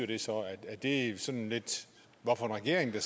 siddende regering det